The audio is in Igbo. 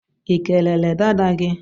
Ikelere dada gi?